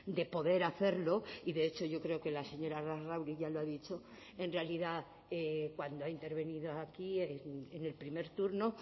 de poder hacerlo y de hecho yo creo que la señora larrauri ya lo ha dicho en realidad cuando ha intervenido aquí en el primer turno